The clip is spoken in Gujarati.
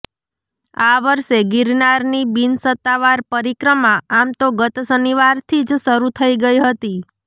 આ વર્ષે ગિરનારની બિનસત્તાવાર પરિક્રમા આમતો ગત શનિવારથી જ શરૂ થઈ ગઈ હતી